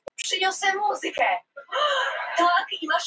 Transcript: Þegar þú brosir mér sérstaklega.